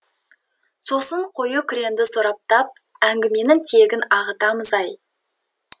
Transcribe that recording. сосын қою күреңді сораптап әңгіменің тиегін ағытамыз ай